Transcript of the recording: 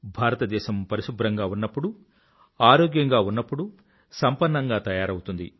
భారతదేశం పరిశుభ్రంగా ఉన్నప్పుడు ఆరోగ్యంగా ఉన్నప్పుడు సంపన్నంగా తయారవుతుంది